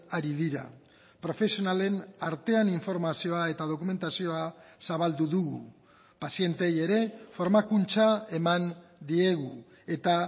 ari dira profesionalen artean informazioa eta dokumentazioa zabaldu dugu pazienteei ere formakuntza eman diegu eta